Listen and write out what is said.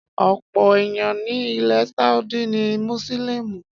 Ọ̀pọ̀ èèyàn ni ilẹ̀ Saudi ni Mùsùlùmí